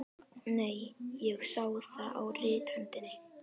Nei, ég sá það á rithöndinni.